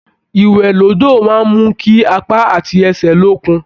Ìwẹ̀ l'ódò máa n mú kí apá àti ẹsẹ l'ókun.